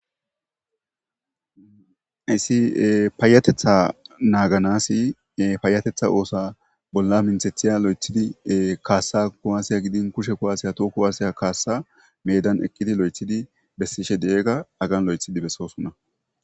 issi paayatetha naaganasi paayatetha oosa bolla minthethiya lo7ethidi kaassa kuwaasiya gidin kushe kuwaase toho kuwaaseya kaassa medan ekkidi lo7ethidi bessishe de7ega agan lo7ethidi bessoosunna